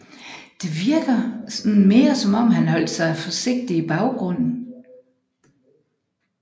Det virker mere som om han holdt sig forsigtigt i baggrunden